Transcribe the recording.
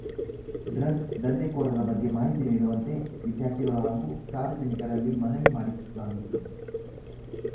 drugs ದಂಧೆಕೋರರ ಬಗ್ಗೆ ಮಾಹಿತಿ ನೀಡುವಂತೆ ವಿದ್ಯಾರ್ಥಿಗಳು ಹಾಗೂ ಸಾರ್ವಜನಿಕರಲ್ಲಿ ಮನವಿ ಮಾಡಲಾಗಿತ್ತು